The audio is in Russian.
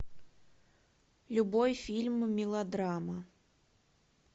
любой фильм мелодрама